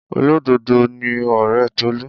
Olododo ni ọre Tolu.